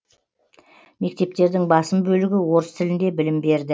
мектептердің басым бөлігі орыс тілінде білім берді